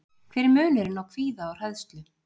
Hver er munurinn á kvíða og hræðslu?